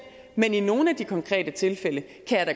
men i nogle af de konkrete tilfælde